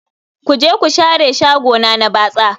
Ku je ku share shagona na batsa